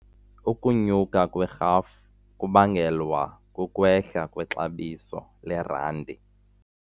Ukunyuka kwerhafu kubangelwa kukwehla kwexabiso lerandi.